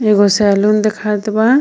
एगो सैलून देखात बा.